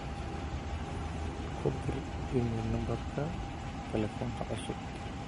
ku dir iimayl nambarka telefonka cusub